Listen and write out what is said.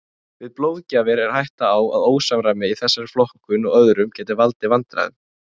Við blóðgjafir er hætta á að ósamræmi í þessari flokkun og öðrum geti valdið vandræðum.